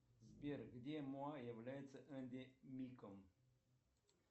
сбер где моа является эндемиком